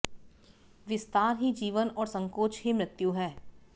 विस्तार ही जीवन और संकोच ही मृत्यु है